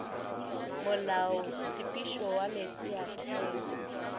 molaotshepetšo wa meetse a theo